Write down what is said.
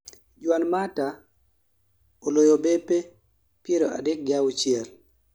juan mata oloyo bape piera adek gi auchiel